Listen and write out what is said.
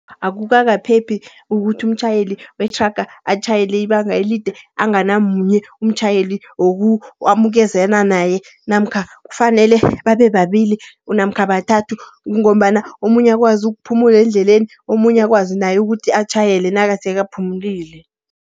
Akukakaphephi ukuthi umtjhayeli wethraga atjhayele ibanga elide, anganamunye umtjhayeli amukezana naye. Namkha kufanele babe babili namkha bathathu. Kungombana omunye akwazi ukuphumula endleleni, omunye akwazi naye ukuthi atjhayele nakasekaphumulile.